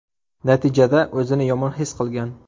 Natijada o‘zini yomon his qilgan.